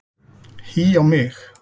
Hí á mig!